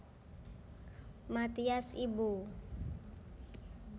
Mathias Ibo